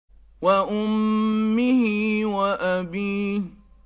وَأُمِّهِ وَأَبِيهِ